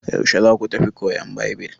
Yaushe za ku tafi koyan Baibil?